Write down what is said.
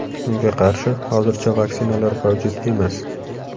Unga qarshi hozircha vaksinalar mavjud emas.